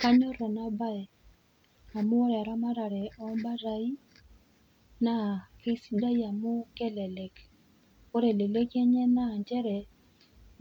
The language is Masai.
Kanyorr ena baye amu ore eramatare ombatai keisidai amu kelelek. Ore eleleki enye naa nchere